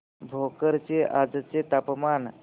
भोकर चे आजचे तापमान